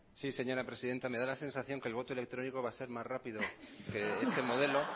sí señora presidenta me da la sensación que el voto electrónico va a ser más rápido que este modelo